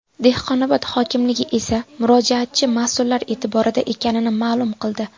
Dehqonobod hokimligi esa murojaatchi mas’ullar e’tiborida ekanini ma’lum qildi.